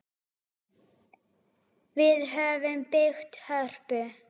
Við höfum byggt Hörpu.